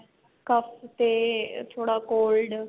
ਤੇ ਥੋੜਾ cold